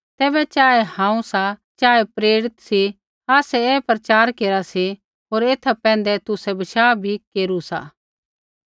तैबै चाहे हांऊँ सा चाहे प्रेरित सी आसै ऐही प्रचार केरा सी होर ऐथा पैंधै तुसै बशाह भी केरू सा